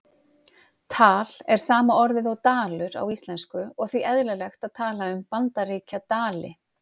Tal er sama orðið og dalur á íslensku og því eðlilegt að tala um Bandaríkjadali.